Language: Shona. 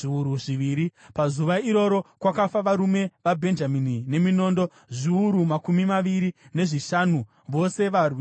Pazuva iroro, kwakafa varume vaBhenjamini veminondo zviuru makumi maviri nezvishanu, vose varwi voumhare.